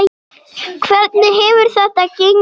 Hvernig hefur þetta gengið?